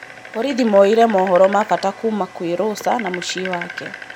Borithi moire mohoro mabata kuuma kwĩ Rosa na mũciĩ wake.